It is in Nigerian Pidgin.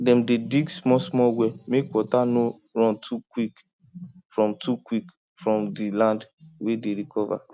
dem dey dig smallsmall well mek water no run too quick from too quick from di land wey dey recover